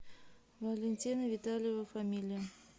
валентина витальева фамилия